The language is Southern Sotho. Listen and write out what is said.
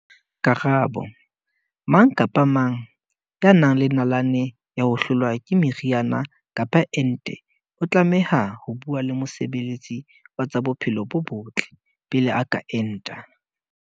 Karabo- Mang kapa mang ya nang le nalane ya ho hlolwa ke meriana kapa ente o tlameha ho bua le mosebe letsi wa tsa bophelo bo botle pele a ka enta.